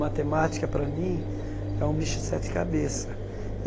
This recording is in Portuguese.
Matemática, para mim, é um bicho de sete cabeça.